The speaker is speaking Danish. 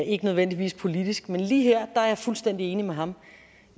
ikke nødvendigvis politisk men lige her er jeg fuldstændig enig med ham